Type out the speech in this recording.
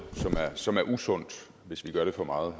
som er usundt hvis vi gør det for meget